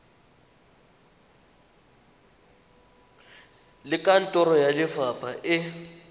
le kantoro ya lefapha e